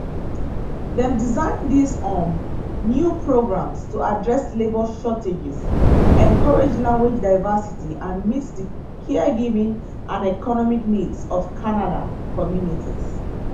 dem design dis um new programs to address labor shortages encourage language diversity and meet di caregiving and economic needs of canada communities canadian authorties um tok